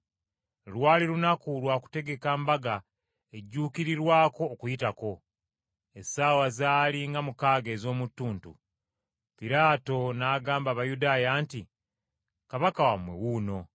Lwali lunaku lwa kutegeka Mbaga ejjuukirirwako Okuyitako. Essaawa zaali nga mukaaga ez’omu ttuntu. Piraato n’agamba Abayudaaya nti, “Kabaka wammwe wuuno!”